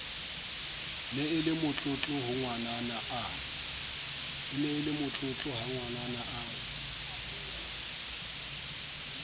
ne e le motlotlohangwanana a